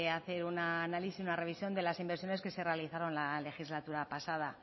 hacer un análisis una revisión de las inversiones que se realizaron la legislatura pasada